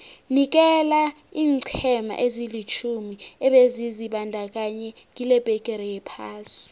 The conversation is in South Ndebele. nikela iinqhema ezilitjhumi ebezizibandakanye kilebhigiri yephasi